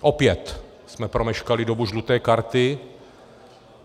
Opět jsme promeškali dobu žluté karty.